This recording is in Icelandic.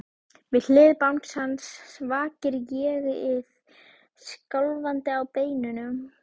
Við hlið bangsans vakir ÉG-ið, skjálfandi á beinunum.